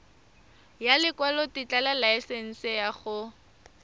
ya lekwalotetla laesense ya go